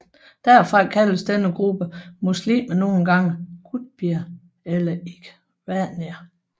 Derfra kaldes denne gruppe muslimer nogle gange qutbier eller ikhwanier